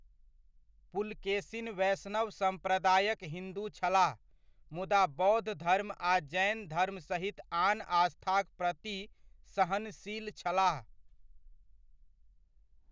पुलकेसिन वैष्णव सम्प्रदायक हिन्दू छलाह, मुदा बौद्ध धर्म आ जैन धर्म सहित आन आस्थाक प्रति सहनशील छलाह।